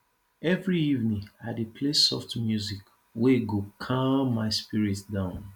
every evening i dey play soft music wey go calm my spirit down